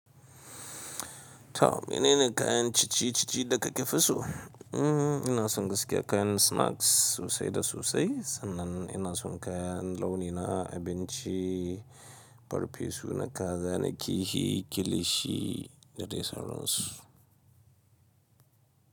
To mene ne kayan cinye-cinye da ka fi so? Mm ina son gaskiya kayan snacks sosai da sosai sannan ina son kayan launina abinci farfesu na kaza da kilishi da dai sauransu.